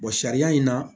sariya in na